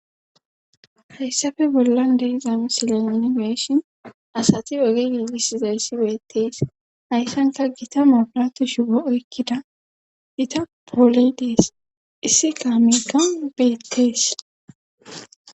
hayssafe bollan deriza misilani geeshin asati oge gigis zayssi beettees hayssanka gita mabirato shipo okkida ita pooley dees issi kaamika beettees